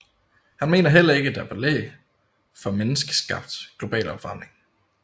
Han mener heller ikke at der er belæg for menneskeskabt global opvarmning